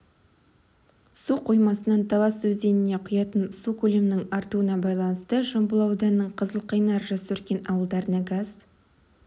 су қоймасынан талас өзеніне құятын су көлемінің артуына байланысты жамбыл ауданының қызылқайнар жасөркен ауылдарына газ